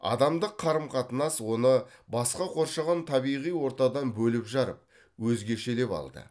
адамдық қарым қатынас оны басқа қоршаған табиғи ортадан бөліп жарып өзгешелеп алды